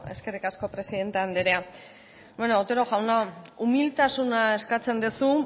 eskerrik asko presidente andrea bueno otero jauna umiltasuna eskatzen duzu